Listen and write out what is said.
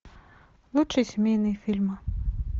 лучшие семейные фильмы